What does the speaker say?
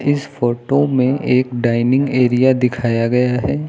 इस फोटो में एक डाइनिंग एरिया दिखाया गया है।